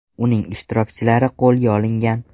Uning ishtirokchilari qo‘lga olingan.